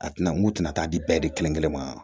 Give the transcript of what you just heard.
A tɛna n'u tina di bɛɛ de kelen kelen ma